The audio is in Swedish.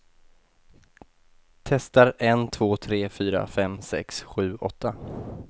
Testar en två tre fyra fem sex sju åtta.